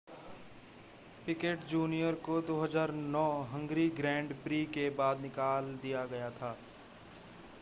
picket junior को 2009 Hungary grand prix के बाद निकाल दिया गया था